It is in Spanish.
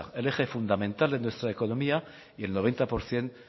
el eje fundamental de nuestra economía y el noventa y seis por ciento